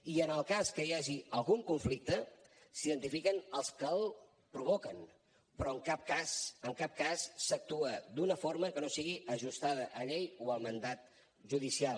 i en el cas que hi hagi algun conflicte s’identifica els que el provoquen però en cap cas en cap cas s’actua d’una forma que no sigui ajustada a llei o al mandat judicial